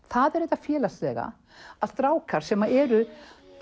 það er þetta félagslega að strákar sem eru